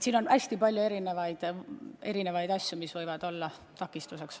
On hästi palju erinevaid asju, mis võivad olla takistuseks.